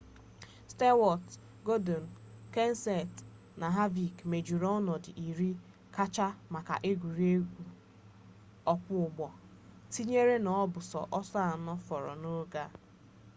stewart gordon kenseth na harvick mejuru onodu iri kachasi maka egwuregwu okwo ugbo tinyere na o bu so oso ano foro n'oge a